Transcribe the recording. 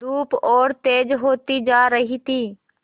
धूप और तेज होती जा रही थी